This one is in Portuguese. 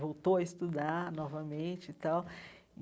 Voltou a estudar novamente e tal.